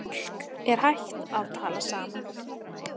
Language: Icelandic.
Fólk er hætt að tala saman.